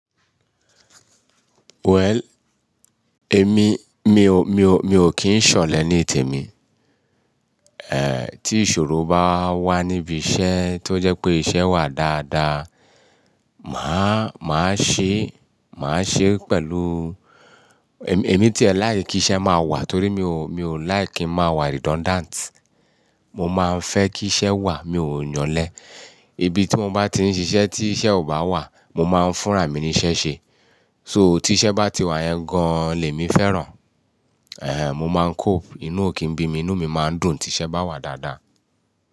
Well, èmi, mi ò, mi ò, mi ò kín ń ṣọ̀lẹ ní ìtẹ̀ mi. Tí ìṣòro bá wà níbi iṣẹ́ tó jẹ́ pé iṣẹ́ wà dáadáa, màá, màá ṣe, màá ṣe pẹ̀lú, èmi, èmi tí ẹ̀ láì kí iṣẹ́ máa wà torí mi ò, mi ò like kí n máa wà redundant. Mo máa ń fẹ́ kí iṣẹ́ wà, mi ò ń yànlẹ́. Ibi tí mo bá ti ń ṣiṣẹ́ tí iṣẹ́ ò bá wà, mo máa ń fúnra mi ní iṣẹ́ ṣe. So tí iṣẹ́ bá ti wà yẹn gan lè mi fẹ́ràn, mo máa ń cope. Inú ò kí ń bí mi, inú mi máa ń dùn tí iṣẹ́ bá wà dáadáa.